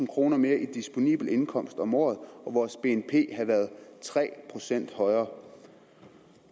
kroner mere i disponibel indkomst om året og vores bnp havde været tre procent højere